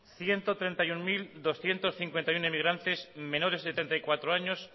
ciento treinta y uno mil doscientos cincuenta y uno emigrantes menores de treinta y cuatro años